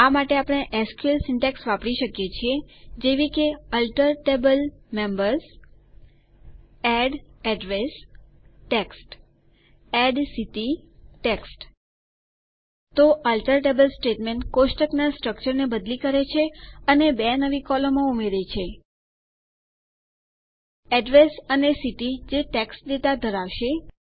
આ માટે આપણે એસક્યુએલ સિન્ટેક્સ વાપરી શકીએ છીએ જેવી કે alter table members add address text add city text તો આલ્ટર ટેબલ સ્ટેટમેન્ટ કોષ્ટક સ્ટ્રકચરને બદલી કરે છે અને બે નવી કોલમો ઉમેરે છે એડ્રેસ અને સિટી જે ટેક્સ્ટ ડેટા ધરાવશે